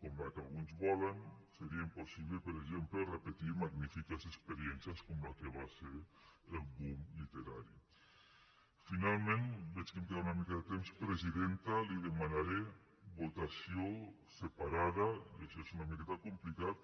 com la que alguns volen seria impossible per exemple repetir magnifiques experiències com la que va ser el boomfinalment veig que em queda una mica de temps presidenta li demanaré votació separada i això és una miqueta complicat